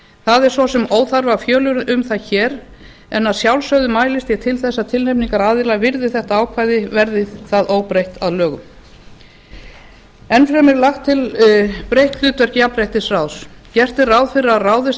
það er svo sem óþarfi að fjölyrða um það hér en að sjálfsögðu mælist ég til þess að tilnefningaraðilar virði þetta ákvæði verði það óbreytt að lögum enn fremur er lagt til breytt hlutverk jafnréttisráðs gert er ráð fyrir að ráðist